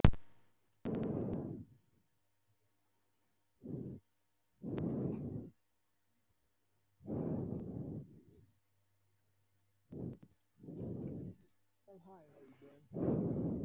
Hvað gefur starfið þér?